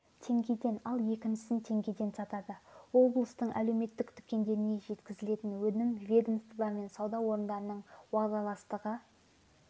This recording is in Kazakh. теңгеден ал екіншісін теңгеден сатады облыстың әлеуметтік дүкендеріне жеткізілетін өнім ведомство мен сауда орындарының уағдаластығы